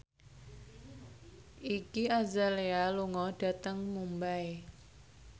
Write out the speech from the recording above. Iggy Azalea lunga dhateng Mumbai